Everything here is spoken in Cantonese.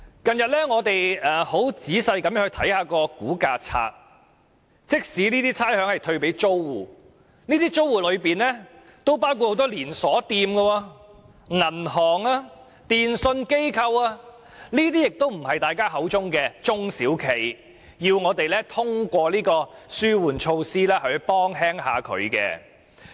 近日我很仔細地查閱差餉估價冊，發現即使這些差餉會退給租戶，但這些租戶中，有很多是連鎖店、銀行、電訊商等，都不是大家口中的中小企，要通過這類紓援措施減輕負擔。